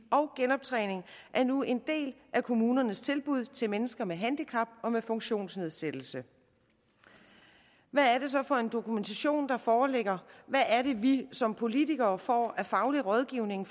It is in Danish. og genoptræning er nu en del af kommunernes tilbud til mennesker med handicap og med funktionsnedsættelse hvad er det så for en dokumentation der foreligger hvad er det vi som politikere får af faglig rådgivning